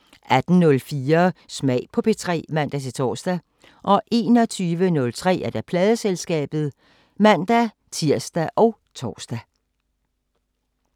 18:04: Smag på P3 (man-tor) 21:03: Pladeselskabet (man-tir og tor)